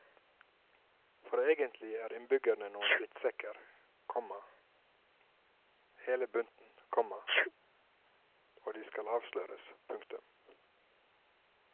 For egentlig er innbyggerne noen drittsekker, komma hele bunten, komma og de skal avsløres. punktum